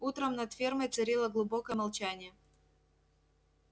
утром над фермой царило глубокое молчание